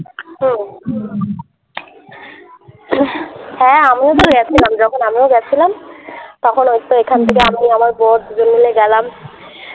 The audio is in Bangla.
হুম হ্যাঁ আমিও তো গেছিলাম যখন আমিও গেছিলাম তখন ওইতো এখান থেকে হুম আমি আমার বর দুজন মিলে গেলাম